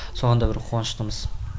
соған да бір қуаныштымыз